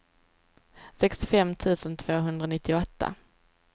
sextiofem tusen tvåhundranittioåtta